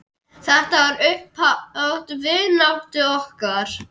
Þetta var upphaf vináttu okkar.